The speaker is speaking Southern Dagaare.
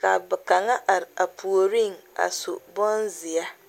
ka ba mine are a puoriŋ su bonzeɛ